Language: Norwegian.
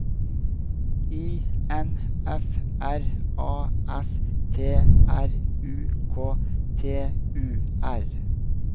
I N F R A S T R U K T U R